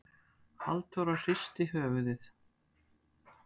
Halldóra hristi höfuðið.